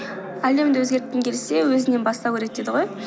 әлемді өзгерткін келсе өзіңнен бастау керек дейді ғой